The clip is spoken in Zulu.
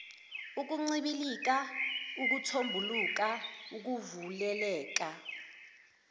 ukuncibilika ukuthombuluka ukuvuleleka